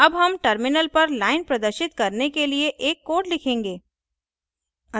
अब हम terminal पर line प्रदर्शित करने के लिए एक code लिखेंगे